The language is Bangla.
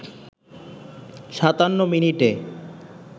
৫৭ মিনিটে